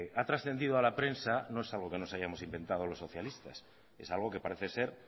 ha trascendido a la prensa no es algo que nos hayamos inventado los socialistas es algo que parece ser